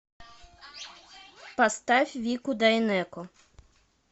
поставь вику дайнеко